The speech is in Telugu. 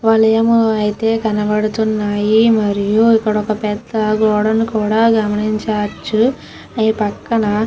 వాళ్ళేమో అయితే కనబడుతున్నాయి. మరియు ఇక్కడొక పెద్ద గోడను కూడా గమనించవచ్చు. ఈ పక్కన --